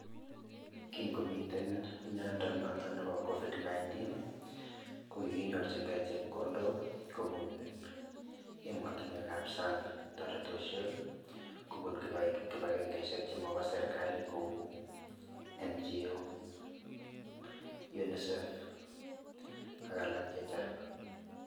Kingomiten miondo noton nebo Covid-19,ko kikinyorjingei chepkondok kobun emotinwekap sang, toretoshek kobun kibagengeishek che mobo serikali kou NGO, UNICEF ak alak chechang.